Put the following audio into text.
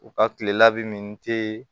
U ka kile labɛn min te